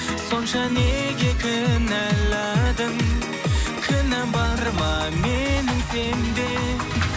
сонша неге кінәладың кінәм бар ма менің сенде